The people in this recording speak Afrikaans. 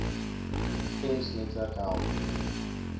gems netwerk help